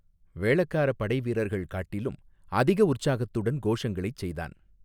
வேளக்காரப் படை வீரர்கள் காட்டிலும் அதிக உற்சாகத்துடன் கோஷங்களைச் செய்தான்.